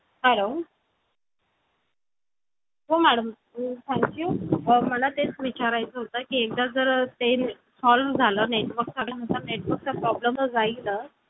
hello हो madam thank you मला तेच विचारायचं होतं की एकदा जर ते सोल झालं network चं network चा problem तर जाईलच